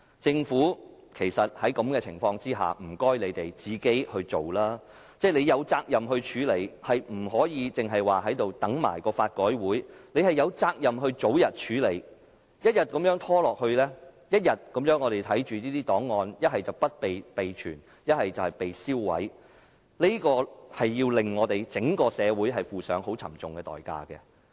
在這情況下，請政府自己把這事情做好，政府是有責任作出處理的，不可以只說等待法改會的報告，政府有責任早日作出處理，一天一天拖下去，我們便看着這些檔案要不是不獲備存，便是被銷毀，這會令我們整個社會負上很沉重的代價。